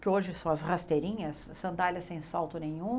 que hoje são as rasteirinhas, sandálias sem salto nenhum.